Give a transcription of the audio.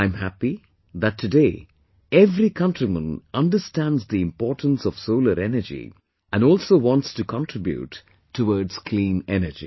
I am happy that today every countryperson understands the importance of solar energy and also wants to contribute towards clean energy